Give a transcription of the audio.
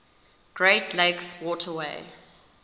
great lakes waterway